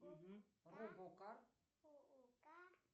робокар